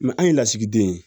an ye lasigiden ye